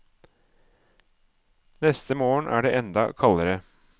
Neste morgen er det enda kaldere.